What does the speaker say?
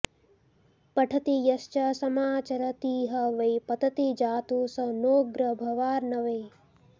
पठति यश्च समाचरतीह वै पतति जातु स नोग्रभवार्णवे